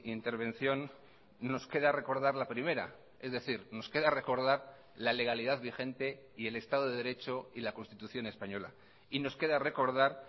intervención nos queda recordar la primera es decir nos queda recordar la legalidad vigente y el estado de derecho y la constitución española y nos queda recordar